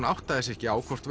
áttaði sig ekki á hvort